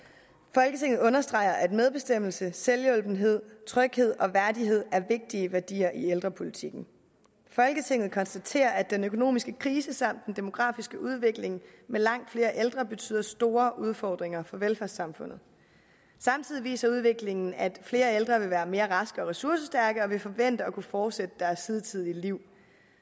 folketinget understreger at medbestemmelse selvhjulpenhed tryghed og værdighed er vigtige værdier i ældrepolitikken folketinget konstaterer at den økonomiske krise samt den demografiske udvikling med langt flere ældre betyder store udfordringer for velfærdssamfundet samtidig viser udviklingen at flere ældre vil være mere raske og ressourcestærke og vil forvente at kunne fortsætte deres hidtidige liv